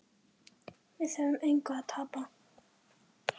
Við höfum engu að tapa.